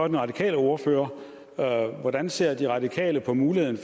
den radikale ordfører hvordan ser de radikale på muligheden